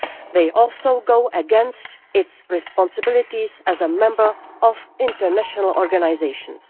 They also go against its responsibilities as a member of international organisations.